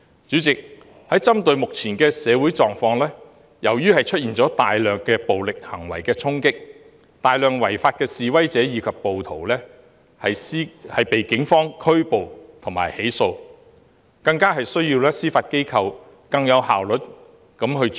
主席，針對目前的社會狀況，大量暴力行為的衝擊導致有大量違法的示威者和暴徒被警方拘捕及起訴，所以更需要司法機構提高效率處理。